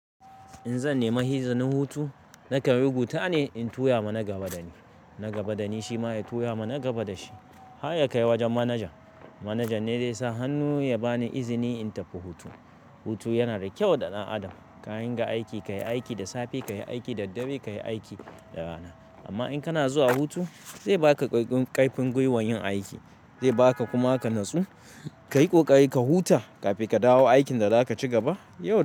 In zan nemi hizanin hutu, nakan rubuta ne in tura ma na gaba dani, na gaba dani shi ma ya tura ma na gaba da shi. Har ya kai wajen manajan. Manajan ne zai sa hannu ya bani izini in tafi hutu. Hutu yana da kyau ga ɗan adam. Ka dinga aiki, ka yi aiki da safe, ka yi aiki da dare, ka yi aiki da rana. Amma in kana zuwa hutu, zai baka ƙaƙƙun, ƙarfin gwiwar yin aiki. Zai baka kuma ka natsu, ka yi ƙoƙari ka huta kafin ka dawo aikin da zaka ci gaba yau.